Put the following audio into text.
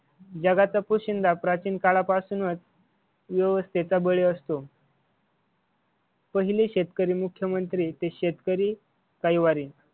जगाचा पोशिंदा प्राचीन काळापासूनच व्यवस्थेचा बळी असतो. पहिले शेतकरी मुख्यमंत्री ते शेतकरी कैवारी